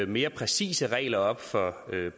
mere præcise regler op for